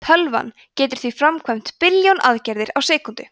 tölvan getur því framkvæmt billjón aðgerðir á sekúndu